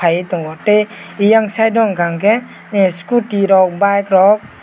paitongo tei eyang side o hinga hingke ah scooty rok bike rok.